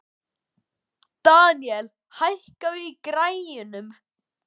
Deníel, hækkaðu í græjunum.